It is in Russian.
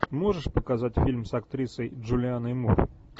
можешь показать фильм с актрисой джулианной мур